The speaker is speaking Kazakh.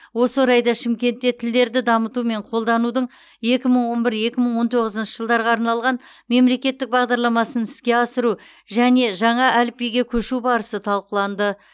осы орайда шымкентте тілдерді дамыту мен қолданудың екі мың он бір екі мың он тоғызыншы жылдарға арналған мемлекеттік бағдарламасын іске асыру және жаңа әліпбиге көшу барысы талқыланды